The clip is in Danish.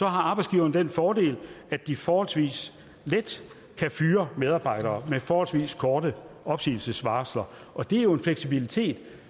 har arbejdsgiverne den fordel at de forholdsvis let kan fyre medarbejdere med forholdsvis korte opsigelsesvarsler og det er jo en fleksibilitet